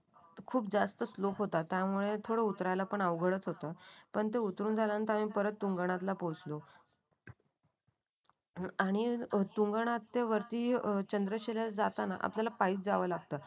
खूप जास्त स्लोप होता त्यामुळे उतरायला थोडा अवघडच होतं. कोणते उतरून झाल्यानंतर परत आम्ही तुंगनाथ पोचलो. आणि तुंगनाथ ते वरती वरती चंद्रशिला जाताना आपल्याला पाही जावं लागतं.